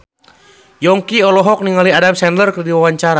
Yongki olohok ningali Adam Sandler keur diwawancara